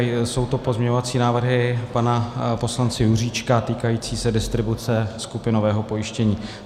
Jsou to pozměňovací návrhy pana poslance Juříčka týkající se distribuce skupinového pojištění.